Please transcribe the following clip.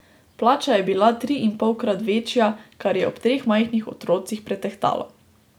Plača je bila triinpolkrat večja, kar je ob treh majhnih otrocih pretehtalo.